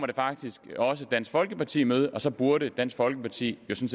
det faktisk også kommer dansk folkeparti i møde og så burde dansk folkeparti jo så